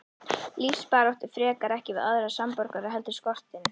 Lífsbaráttu frekar, ekki við aðra samborgara heldur skortinn.